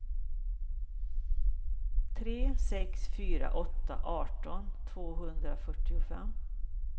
tre sex fyra åtta arton tvåhundrafyrtiofem